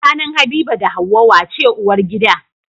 Tsakanin habiba da hauwa wace uwar gida?